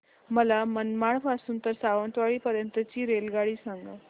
मला मनमाड पासून तर सावंतवाडी पर्यंत ची रेल्वेगाडी सांगा